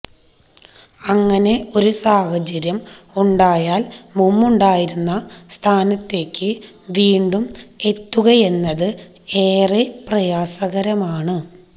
അങ്ങനെ ഒരു സാഹചര്യം ഉണ്ടായാല് മുമ്പുണ്ടായിരുന്ന സ്ഥാനത്തേക്ക് വീണ്ടും എത്തുകയെന്നത് ഏറെ പ്രയാസകരമാണ്